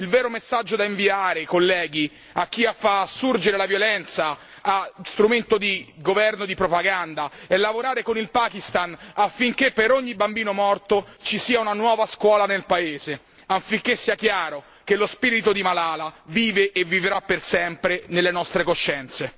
Il vero messaggio da inviare, colleghi, a chi fa assurgere la violenza a strumento di governo, di propaganda, è lavorare con il Pakistan affinché per ogni bambino morto ci sia una nuova scuola nel paese, affinché sia chiaro che lo spirito di Malala vive e vivrà per sempre nelle nostre coscienze.